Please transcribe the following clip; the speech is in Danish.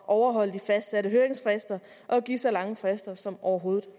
at overholde de fastsatte høringsfrister og give så lange frister som overhovedet